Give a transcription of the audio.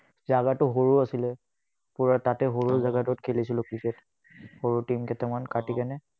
টো সৰু আছিলে। তাতে, সৰু টোত খেলিছিলো ক্ৰিকেট। সৰু tin কেইটামান কাটি